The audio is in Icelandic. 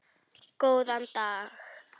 Góðan dag.